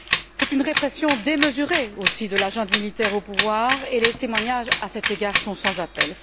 C'est une répression démesurée aussi de la junte militaire au pouvoir et les témoignages à cet égard sont sans appel.